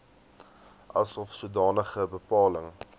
asof sodanige bepaling